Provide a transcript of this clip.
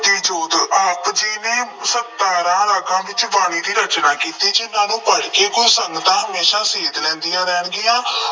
ਜੋਤੀ ਜੋਤ- ਆਪ ਜੀ ਨੇ ਸਤਾਰਾਂ ਅੰਗਾਂ ਵਿੱਚ ਬਾਣੀ ਦੀ ਰਚਨਾ ਕੀਤੀ। ਜਿੰਨ੍ਹਾ ਨੂੰ ਪੜ੍ਹਕੇ ਗੁਰੂ ਸੰਗਤਾਂ ਹਮੇਸ਼ਾ ਸੇਧ ਲੈਂਦੀਆਂ ਰਹਿਣਗੀਆਂ।